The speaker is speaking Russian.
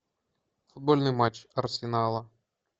футбольный матч арсенала